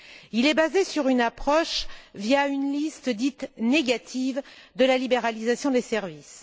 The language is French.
Il est basé sur une approche fondée sur une liste dite négative de la libéralisation des services.